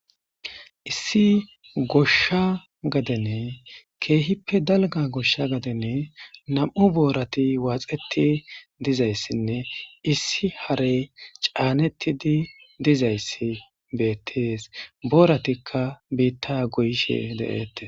Issi goshsha gadene keehippe dalga goshsha gadenne nam' boorati waaxeti dizayssinne issi harey caanettidi dizayssi beettees booratikka biitta goyshe de'ette.